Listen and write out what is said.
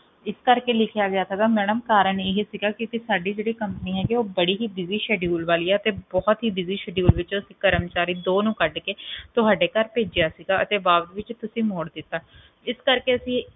ਇਸ ਕਰਕੇ ਲਿਖਿਆ ਗਿਆ ਸੀ ਮੈਡਮ ਕਾਰਣ ਹੀ ਸੀਗਾ ਕਿ ਸਾਡੀ ਜਿਹੜੀ company ਸੀਗੀ ਉਹ ਬੜੇ ਹੀ busyschedule ਵਾਲੀ ਹੈ ਅਤੇ ਬੜੇ ਹੀ busyschedule ਵਿੱਚੋ ਜਿਹੜੇ ਦੋ ਕਰਮਚਾਰੀ ਕੱਢ ਕੇ ਤੁਹਾਡੇ ਘਰ ਭੇਜਿਆ ਸੀਗਾ ਤੇ ਤੁਸੀਂ ਓਹਨਾ ਨੂੰ ਵਾਪਸ ਮੋੜਤਾ